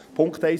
Punkt 1: